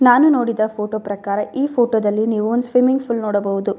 ನಾನು ನೋಡಿದ ಫೋಟೋ ಪ್ರಕಾರ ಈ ಫೋಟೋದಲ್ಲಿ ನೀವು ಒಂದ್ ಸ್ವಿಮಿಂಗ್ ಫುಲ್ನ ನೋಡಬಹುದು.